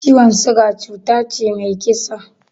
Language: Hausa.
Ciwon siga cuta ce mai kisa